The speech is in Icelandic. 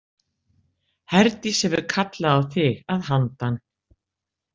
Herdís hefur kallað á þig að handan.